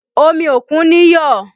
Omi òkun níyọ̀